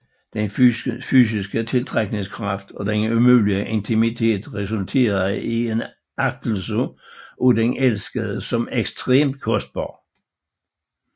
Den fysiske tiltrækningskraft og den umulige intimitet resulterede i en agtelse af den elskede som ekstremt kostbar